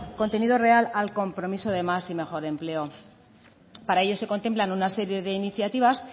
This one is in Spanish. contenido real al compromiso de más y mejor empleo para ello se contemplan una serie de iniciativas